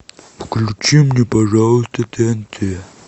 включи мне пожалуйста тнт